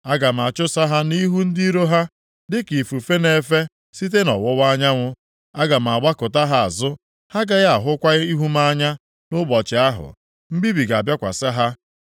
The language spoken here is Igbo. Aga m achụsa ha nʼihu ndị iro ha dịka ifufe na-efe site nʼọwụwa anyanwụ. Aga m agbakụta ha azụ. Ha agaghị ahụkwa ihu m anya nʼụbọchị ahụ mbibi ga-abịakwasị ha.”